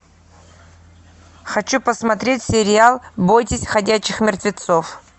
хочу посмотреть сериал бойтесь ходячих мертвецов